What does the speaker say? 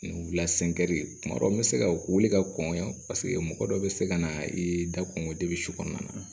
Ni wula tuma dɔ n bɛ se ka wuli ka kɔn yan paseke mɔgɔ dɔ bɛ se ka na i da kɔn ka kɔnɔna na